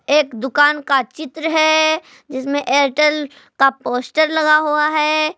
एक दुकान का चित्र है जिसमें एयरटेल का पोस्टर लगा हुआ है।